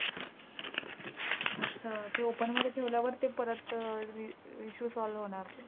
अच्छा! ते open मध्ये ठेवल्यावर ते परत अं issue solve होणार.